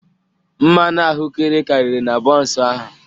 Mmanụ ahụekere karịrị na bọnsụ ahụ